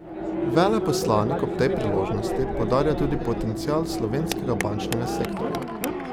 Veleposlanik ob tej priložnosti poudarja tudi potencial slovenskega bančnega sektorja.